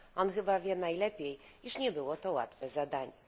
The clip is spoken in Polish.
On chyba wie najlepiej, iż nie było to łatwe zadanie.